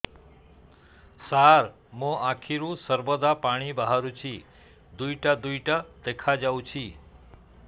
ସାର ମୋ ଆଖିରୁ ସର୍ବଦା ପାଣି ବାହାରୁଛି ଦୁଇଟା ଦୁଇଟା ଦେଖାଯାଉଛି